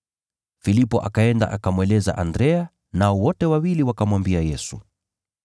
Filipo akaenda akamweleza Andrea, nao wote wawili wakamwambia Yesu.